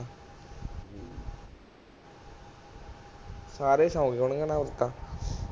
ਸਾਰੇ ਸੌਂ ਗਏ ਹੁਣ ਤਾਂ